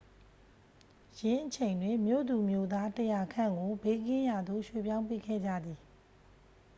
ယင်းအချိန်တွင် မြို့သူမြို့သား 100 ခန့်ကို ဘေးကင်းရာသို့ ရွှေ့ပြောင်းပေးခဲ့ကြသည်